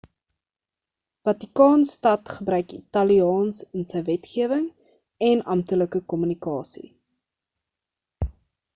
vatikaan stad gebruik italiaans in sy wetgewing en amptelike kommunikasie